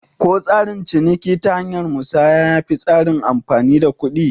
Ko tsarin ciniki ta hanyar musanya yafi tsarin amfani da kuɗi?